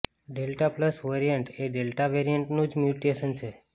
delta plus variant એ delta વેરિઅન્ટનું જ મ્યુટેશન છે